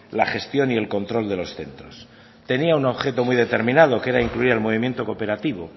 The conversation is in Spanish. la gestión y el control de los centros tenía un objeto muy determinado que era incluir el movimiento cooperativo